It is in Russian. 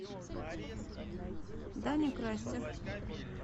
даня крастер